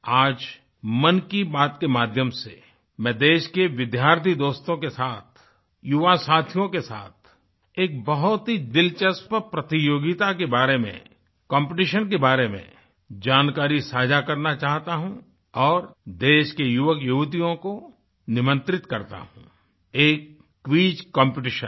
आज मन की बात के माध्यम से मैं देश के विद्यार्थी दोस्तों के साथ युवा साथियों के साथ एक बहुत ही दिलचस्प प्रतियोगिता के बारे में कॉम्पिटिशन के बारे में जानकारी साझा करना चाहता हूँ और देश के युवकयुवतियों को निमंत्रित करता हूँ एक क्विज कॉम्पिटिशन